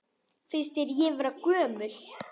Finnst þér ég vera gömul?